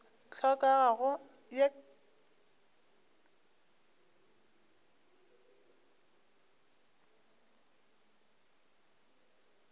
hlokago ka ye nako ke